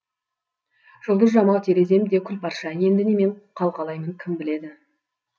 жұлдыз жамау терезем де күл парша енді немен қалқалаймын кім білед